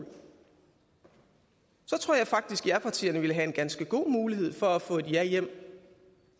tror jeg faktisk japartierne ville have en ganske god mulighed for at få et ja hjem